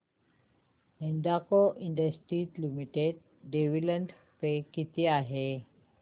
Hindalco industries limited dividend pay किती आहे